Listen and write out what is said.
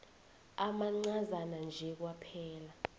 amancazana nje kwaphela